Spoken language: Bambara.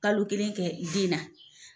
Kalo kelen kɛ denna.